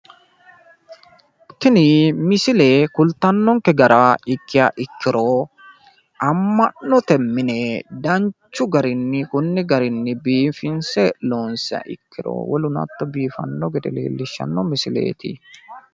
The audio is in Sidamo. tini misile kultanonke gara ikkiha ikkiro ama'note mine danchu garinni kunni garinni biifinse loonsiha ikkiro woluno hatto biifanno gede leellishshanno misileeti.